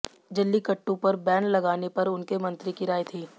जलीकट्टू पर बैन लगाने पर उनके मंत्री की राय थी